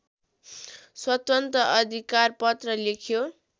स्वतन्त्र अधिकारपत्र लेख्यो